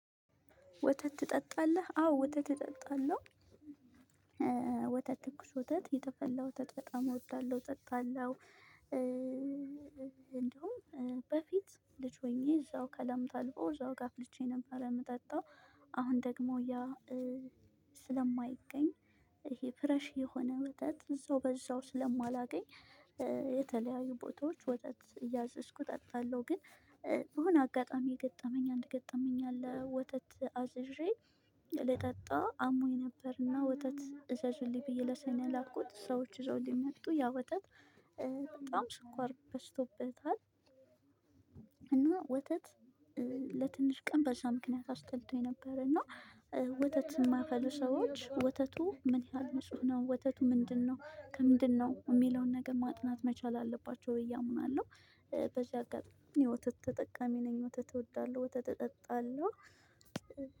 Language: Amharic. ወተት ትጠጣለህ አዎ ወተት እጠጣለሁ። ወተት ትኩስ ወተት የተፈላ ወተት በጣም እወዳለሁ እጠጣለሁ። እንደውም በፊት ልጅ ሆኜ እዛው ከላም ታልቦ እዛው ጋር አፍልቼ ነበር የምጠጣው። አሁን ደግሞ ያ ስለማይገኝ ይሄ ፍሬሽ የሆነ ወተት እዛው በዛው ስለማላገኝ የተለያዩ ቦታዎች ወተት እያዘዝኩ እጠጣለሁ። ግን በሆነ አጋጣሚ የገጠመኝ አንድ ገጠመኝ አለ። ወተት አዝዤ ልጠጣ አሞኝ ነበር እና ወተት እዘዙልኝ ብዬ ለሰው ነው ላየኩት ሰዎች ይዘውልኝ መጡ ያ ወተት በጣም ስኳር በዝቶበታል። እና ወተት ለትንሽ ቀን በዛ ምክንያት አስጠልቶኝ ነበር። እና ወተት የማያፈሉ ሰዎች ወተቱ ምን ያህል ንጹህ ነው? ወተቱ ምንድነው ከምንድነው የሚለውን ነገር ማጥናት መቻል አለባቸው ብዬ አምናለሁ። በዚህ አጋጣሚ ወተት ተጠቃሚ ነኝ። ወተት እወዳለሁ ወተት እጠጣለሁ።